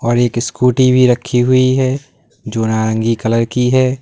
और एक स्कूटी भी रखी हुई है जो नारंगी कलर की है।